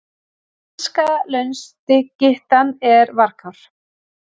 Sænska launskyttan er varkár